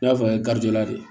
N y'a fɔ la de